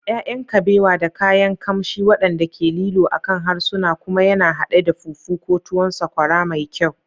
ya'yan kabewa da kayan kamshi waɗanda ke lilo akan harsuna, kuma yana haɗe da fufu ko tuwon sakwara mai kyau.